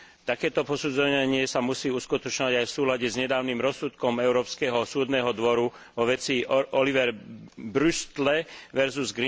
Takéto posudzovanie sa musí uskutočňovať aj v súlade s nedávnym rozsudkom Európskeho súdneho dvora vo veci Oliver Brüstle vs.